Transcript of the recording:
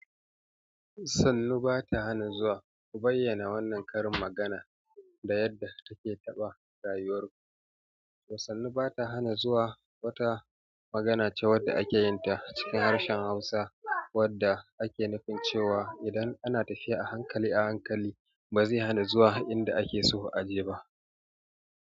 Sannu ba ta hana zuwa, ku bayyana wannan karin magana da yadda ta ke taɓa rayuwar ku. Sannu ba ta hana zuwa wata magana ce wadda ake yin ta a cikin harshen Hausa wadda ake nufin cewa idan ana tafiya a hankali a hankali ba zai hana zuwa inda ake so a je ba.